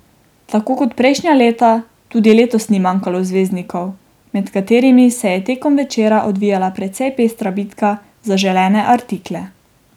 Tako kot prejšnja leta tudi letos ni manjkalo zvezdnikov, med katerimi se je tekom večera odvijala precej pestra bitka za želene artikle.